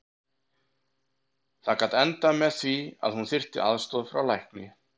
Það gat endað með því að hún þyrfti aðstoð frá lækni.